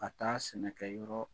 A taa sɛnɛkɛ yɔrɔɔ